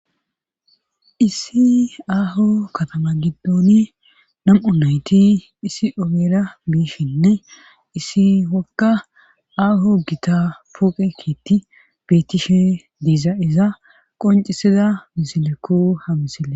issi aaho katama giddooni nam7u nayti issi obera biishinne issi wakka aaho gita puqekitti beetishe diiza iza qoncisida misilekko hamisille